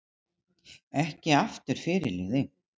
Ekki aftur fyrirliði